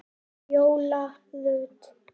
Fjóla Rut.